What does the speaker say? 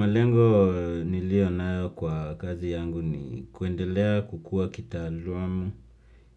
Malengo nilio nayo kwa kazi yangu ni kuendelea kukua